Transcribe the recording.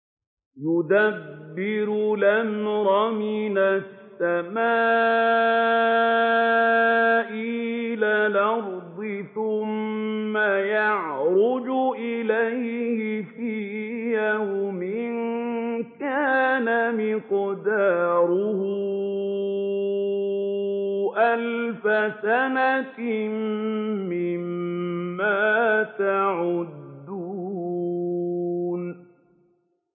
يُدَبِّرُ الْأَمْرَ مِنَ السَّمَاءِ إِلَى الْأَرْضِ ثُمَّ يَعْرُجُ إِلَيْهِ فِي يَوْمٍ كَانَ مِقْدَارُهُ أَلْفَ سَنَةٍ مِّمَّا تَعُدُّونَ